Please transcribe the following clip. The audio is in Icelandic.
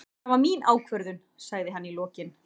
Það var mín ákvörðun, sagði hann í lokin.